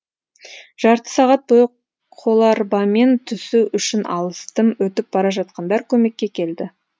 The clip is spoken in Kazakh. жарты сағат бойы қоларбамен түсу үшін алыстым өтіп бара жатқандар көмекке келді